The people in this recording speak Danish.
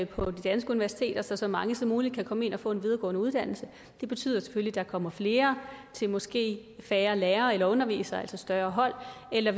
på de danske universiteter så så mange som muligt kan komme ind og få en videregående uddannelse det betyder selvfølgelig at der kommer flere til måske færre lærere eller undervisere og altså større hold eller